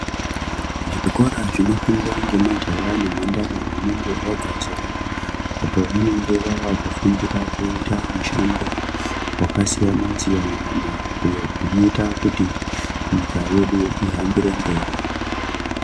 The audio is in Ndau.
Zvikora zvinofundwa ngemajaya nemhandara vanenge vabva zera apo vanenge vavafundira kuita mishando wakasiyana-siyana iyo unoita kuti nyika yedu ihambire mberi.